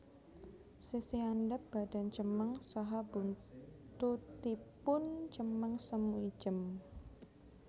Sisih andhap badan cemeng saha buntutipun cemeng semu ijem